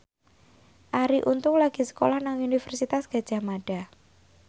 Arie Untung lagi sekolah nang Universitas Gadjah Mada